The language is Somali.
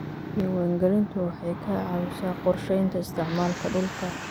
Diiwaangelintu waxay ka caawisaa qorshaynta isticmaalka dhulka.